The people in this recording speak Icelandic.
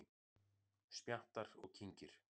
Smjattar og kyngir.